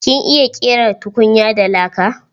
Kin iya ƙera tukunya da laka?